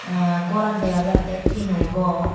ehnn goraan dega jattey tino gor.